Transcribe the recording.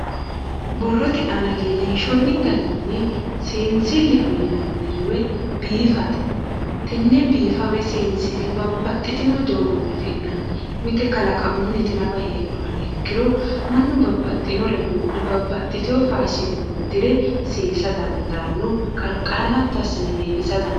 borrote aana leellinshoonni garinni seensilleho yinanniri woyi biifate tenne biifa woyi seensille babbaxitino doogonni afi'nanni mite kalaqamunni nafa afi'nanniti heedhuha nafa ikkiro mannu babbxitinore buudhe babbaxitino faashine uddire seesa dandaanno qarqarano hatto assine biifisa dandiinanni.